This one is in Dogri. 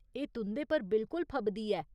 एह् तुं'दे पर बिल्कुल फबदी ऐ।